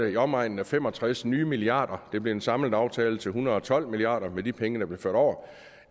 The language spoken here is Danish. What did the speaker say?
i omegnen af fem og tres nye milliarder kroner det blev en samlet aftale til en hundrede og tolv milliard kroner med de penge der blev ført over